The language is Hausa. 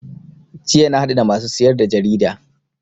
Jiya na haɗu da masu siyar da jarida